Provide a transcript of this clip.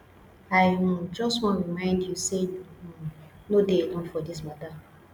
i um just wan remind you say you um no dey alone for this matter